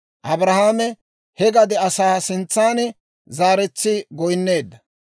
Abrahaame he gade asaa sintsan zaaretsi goynneedda,